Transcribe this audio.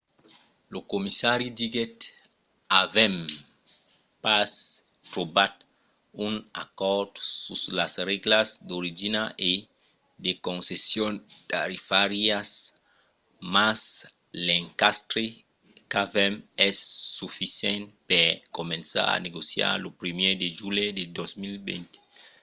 lo comissari diguèt avèm pas trobat un acòrd sus las règlas d'origina e de concessions tarifàrias mas l'encastre qu'avèm es sufisent per començar a negociar lo 1èr de julhet de 2020